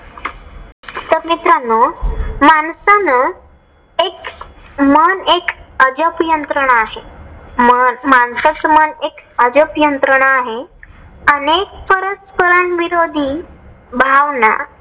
तर मित्रांनो माणसाने एक मन एक अजब यंत्रणा आहे. माणसाच मन एक अजब यंत्रणा आहे. अनेक परस्परानविरोधी भावना